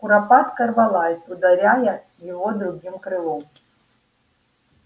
куропатка рвалась ударяя его другим крылом